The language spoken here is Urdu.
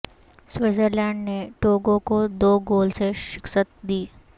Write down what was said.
سویٹزرلینڈ نے ٹوگو کو دو گول سے شکست دی